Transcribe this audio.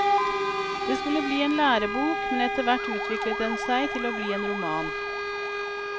Det skulle bli en lærebok men efterhvert utviklet den seg til å bli en roman.